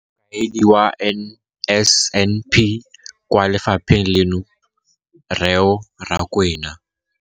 Mokaedi wa NSNP kwa lefapheng leno, Reo Rakwena.